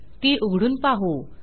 ती उघडून पाहू